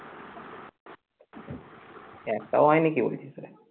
আচ্ছা কেউ